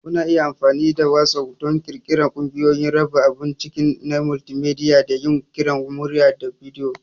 Kuna iya amfani da WhatApp don ƙirƙirar ƙungiyoyi, raba abun ciki na multimedia, da yin kiran murya/bidiyo.